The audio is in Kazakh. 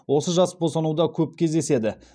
осы жас босануда көп кездеседі